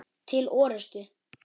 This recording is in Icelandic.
Til orustu!